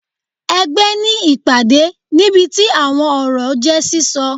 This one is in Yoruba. Ẹgbẹ ní ìpàdé, níbití awọn ọrọ je sísọ.